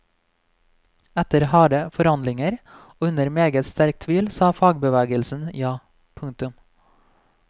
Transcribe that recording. Etter harde forhandlinger og under meget sterk tvil sa fagbevegelsen ja. punktum